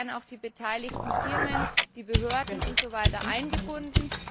Da werden auch die beteiligten Firmen, die Behörden und so weiter eingebunden.